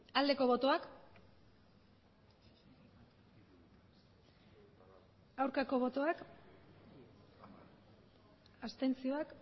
aldeko botoak aurkako botoak abstentzioak